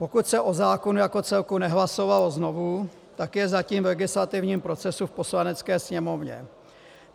Pokud se o zákonu jako celku nehlasovalo znovu, tak je zatím v legislativním procesu v Poslanecké sněmovně.